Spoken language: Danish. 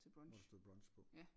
Hvor der stod brunch på